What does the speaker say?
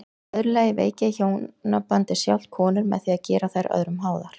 Í öðru lagi veiki hjónabandið sjálft konur með því að gera þær öðrum háðar.